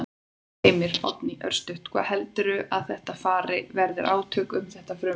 Heimir: Oddný, örstutt, hvað heldurðu að þetta fari, verði átök um þetta frumvarp?